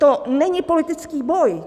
To není politický boj.